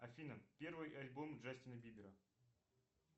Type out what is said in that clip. афина первый альбом джастина бибера